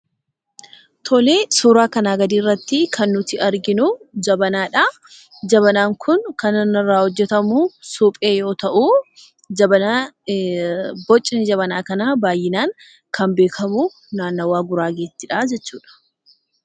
Suuraa kanaa gadiirratti kan arginu jabanaadha. Jabanaan kun kan inni irraa hojjatamu suphee yoo ta'u, bocni Jabanaa kanaa kan beekamu naannawaa guraageettidhaa jechuudha.